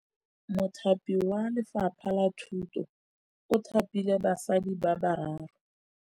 Mothapi wa Lefapha la Thutô o thapile basadi ba ba raro.